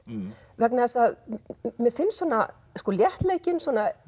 vegna þess að mér finnst svona léttleikinn